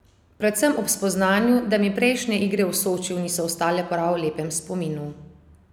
Predvsem ob spoznanju, da mi prejšnje igre v Sočiju niso ostale v prav lepem spominu.